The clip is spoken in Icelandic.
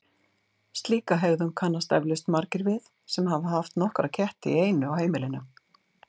Slíka hegðun kannast eflaust margir við sem hafa haft nokkra ketti í einu á heimilinu.